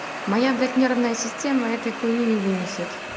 моя блять нервная система этой хуйни не вынесет